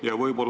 Aitäh!